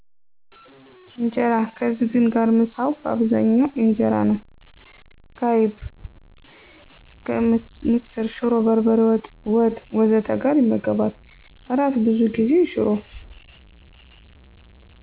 ኢንጀራ ከዝግን ጋር: ምሳው በአብዛኛው ኢንጀራ ነው፣ ከአይብ፣ ምስር፣ ሽሮ፣ በርበሬ ወጥ፣ ወጥ ወዘተ ጋር ይመገባል። እራት ብዙ ጊዜ ሽሮ